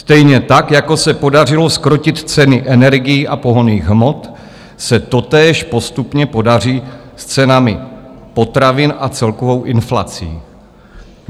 Stejně tak, jako se podařilo zkrotit ceny energií a pohonných hmot, se totéž postupně podaří s cenami potravin a celkovou inflací.